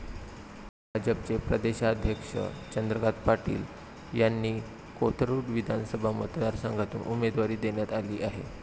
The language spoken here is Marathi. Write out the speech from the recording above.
भाजपचे प्रदेशाध्यक्ष चंद्रकांत पाटील यांना कोथरुड विधानसभा मतदार संघातून उमेदवारी देण्यात आली आहे.